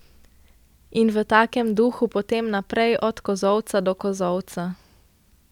In v takem duhu potem naprej od kozolca do kozolca.